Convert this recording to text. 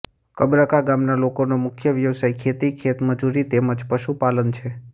કબરકા ગામના લોકોનો મુખ્ય વ્યવસાય ખેતી ખેતમજૂરી તેમ જ પશુપાલન છે